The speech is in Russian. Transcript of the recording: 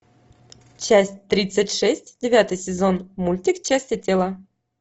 часть тридцать шесть девятый сезон мультик части тела